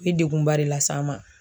ye degunba de las'an ma.